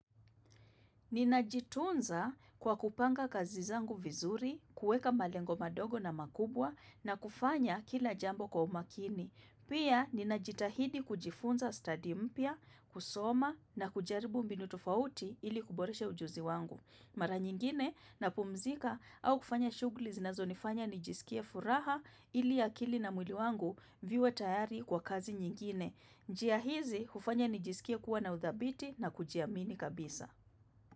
Nina jitunza kwa kupanga kazi zangu vizuri, kuweka malengo madogo na makubwa na kufanya kila jambo kwa umakini. Pia nina jitahidi kujifunza study mpya, kusoma na kujaribu mbinu tofauti ili kuboresha ujuzi wangu. Mara nyingine na pumzika au kufanya shugli zinazo nifanya nijisikie furaha ili akili na mwili wangu viwe tayari kwa kazi nyingine. Njiahizi hufanya nijisikie kuwa na udhabiti na kujiamini kabisa.